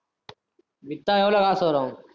வித்தா எவ்வளவு காசு வரும்